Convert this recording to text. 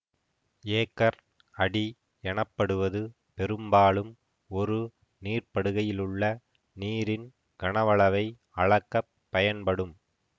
acre அடி எனப்படுவது பெரும்பாலும் ஒரு நீர்ப்படுகையிலுள்ள நீரின் கனவளவை அளக்க பயன்படும்